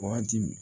Wagati min